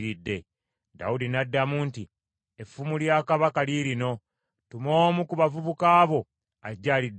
Dawudi n’addamu nti, “Effumu lya kabaka liirino. Tuma omu ku bavubuka bo ajje aliddukire.